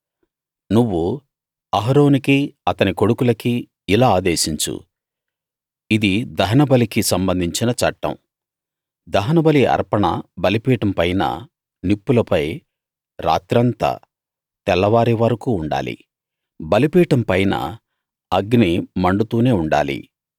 నువ్వు అహరోనుకీ అతని కొడుకులకీ ఇలా ఆదేశించు ఇది దహనబలికి సంబంధించిన చట్టం దహనబలి అర్పణ బలిపీఠం పైన నిప్పులపై రాత్రంతా తెల్లవారే వరకూ ఉండాలి బలిపీఠం పైన అగ్ని మండుతూనే ఉండాలి